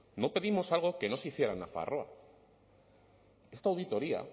no pedimos algo que no se hiciera en nafarroa esta auditoría